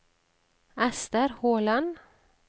Ester Håland